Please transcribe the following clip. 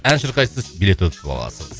ән шырқайсыз билет ұтып аласыз